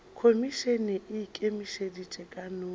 khomišene e ikemetše ka noši